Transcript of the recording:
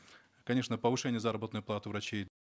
конечно повышение заработной платы врачей